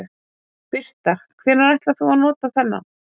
Birta: Hvenær ætlar þú að nota þennan?